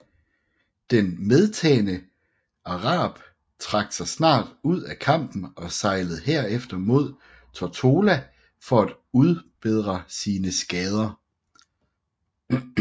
Den medtagne Arab trak sig snart ud af kampen og sejlede herefter mod Tortola for at udbedre sine skader